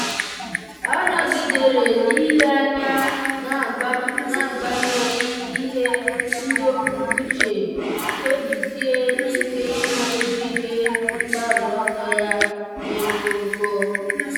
ọ́ nọ́gídèrè n’ílé anya n’ágbànyéghị́ ihe ndọpụ uche kpebisie ike íméjú ihe mgbaru ọsọ ya dị mkpụmkpụ.